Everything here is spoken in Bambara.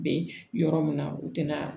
Be yɔrɔ min na u tɛna